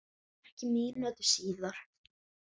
Ekki mínútu síðar